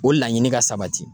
O laɲini ka sabati.